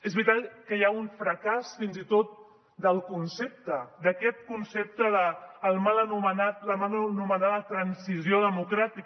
és veritat que hi ha un fracàs fins i tot del concepte d’aquest concepte de la mal anomenada transició democràtica